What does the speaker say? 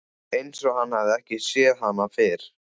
Einsog hann hafi ekki séð hana fyrr.